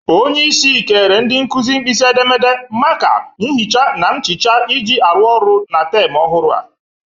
Onyeisi kere ndị nkụzị mkpisi edemede, maka,, nhịcha na mchịcha iji arụ ọrụ na tem ọhụrụ a